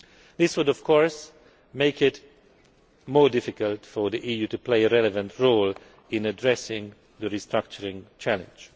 This would of course make it more difficult for the EU to play a relevant role in addressing the restructuring challenge.